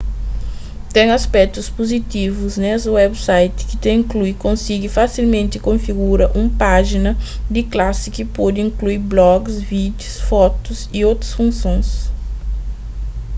ten aspétus puzitivus nes websites ki ta inklui konsigi fasilmenti konfigura un pájina di klasi ki pode inklui blogis vídius fotus y otus funsons